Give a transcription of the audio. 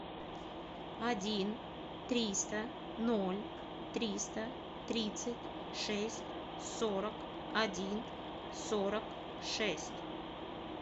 один триста ноль триста тридцать шесть сорок один сорок шесть